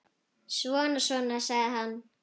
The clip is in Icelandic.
Svona, svona, sagði hann.